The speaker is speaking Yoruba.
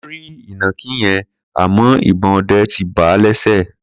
Wọ́n rí ìnàkí yẹn, àmọ́ ìbọn ọdẹ ti bà á lẹ́sẹ̀.